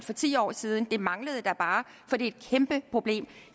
for ti år siden det manglede da bare for det er et kæmpe problem